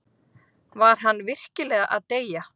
Var hann virkilega að deyja?